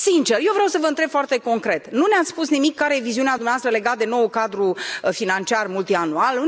Sincer, eu vreau vă întreb foarte concret, nu ne ați spus nimic care este viziunea dumneavoastră legată de noul cadru financiar multianual?